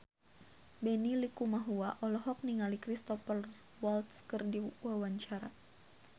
Benny Likumahua olohok ningali Cristhoper Waltz keur diwawancara